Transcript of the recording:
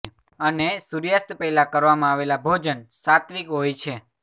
અને સુર્યાસ્ત પહેલા કરવામાં આવેલા ભોજન સાત્વિક હોય છે